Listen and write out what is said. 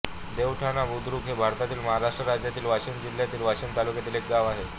देवठाणा बुद्रुक हे भारतातील महाराष्ट्र राज्यातील वाशिम जिल्ह्यातील वाशीम तालुक्यातील एक गाव आहे